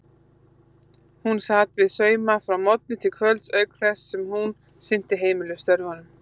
Hún sat við sauma frá morgni til kvölds auk þess sem hún sinnti heimilisstörfunum.